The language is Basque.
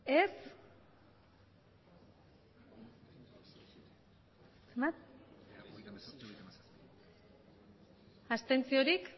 aurkako botoak